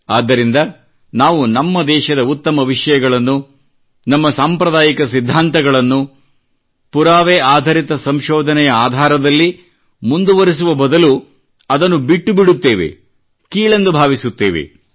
ಆದ್ದರಿಂದ ನಾವು ನಮ್ಮ ದೇಶದ ಉತ್ತಮ ವಿಷಯಗಳನ್ನು ನಮ್ಮ ಸಾಂಪ್ರದಾಯಿಕ ಸಿದ್ಧಾಂತಗಳನ್ನು ಪುರಾವೆ ಆಧರಿತ ಸಂಶೋಧನೆಯ ಆಧಾರದಲ್ಲಿ ಮುಂದುವರಿಸುವ ಬದಲು ಅದನ್ನು ಬಿಟ್ಟು ಬಿಡುತ್ತೇವೆ ಮತ್ತು ಕೀಳೆಂದು ಭಾವಿಸುತ್ತೇವೆ